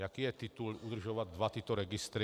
Jaký je titul udržovat dva tyto registry?